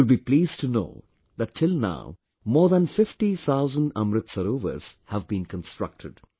You will be pleased to know that till now more than 50 thousand Amrit Sarovars have been constructed